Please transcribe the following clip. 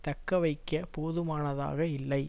தக்க வைக்க போதுமானதாக இல்லை